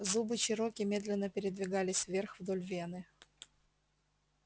зубы чероки медленно передвигались вверх вдоль вены